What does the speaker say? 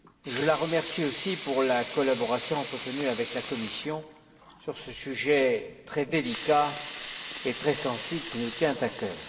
Je la remercie aussi pour la collaboration qu'elle a entretenue avec la Commission sur ce sujet très délicat et très sensible qui nous tient à cœur.